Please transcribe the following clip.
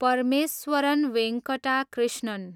Parameswaran Venkata Krishnan